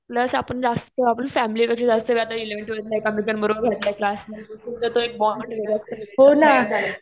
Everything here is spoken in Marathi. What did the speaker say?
प्लस आपण जास्त फॅमिली पेक्षा जास्त वेळ आता एलेव्हन्थ, ट्वेल्थला एकमेकांबरोबर नंतर क्लास तो जो बॉण्ड वेगळाच तयार झालाय.